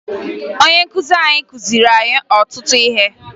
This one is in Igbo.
Ọnye nkụzi anyị kụziri anyị ọtụtụ ihe